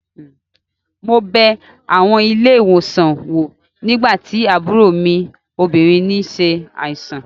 Mo bẹ àwọn ilé-ìwòsàn wò nígbà tí àbúrò mi obìnrin n ṣe àìsàn